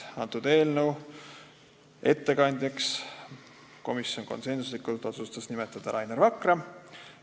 Eelnõu ettekandjaks otsustas komisjon konsensusega nimetada Rainer Vakra.